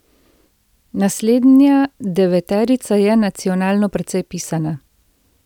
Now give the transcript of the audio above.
Naslednja deveterica je nacionalno precej pisana.